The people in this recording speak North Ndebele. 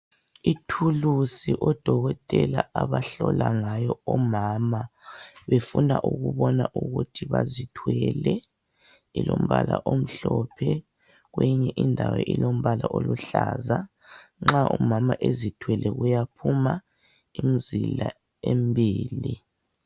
Ithulusi odokotela abahlola ngayo omama befuna ukubona ukuthi bazithwele. Ilombala omhlophe kwezinye indawo ilombala oluhlaza. Nxa umama ezithwele kuyaphuma imizila emibili.